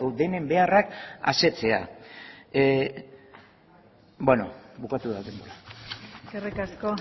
denen beharrak asetzea beno bukatu da denbora eskerrik asko